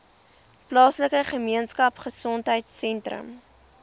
plaaslike gemeenskapgesondheid sentrum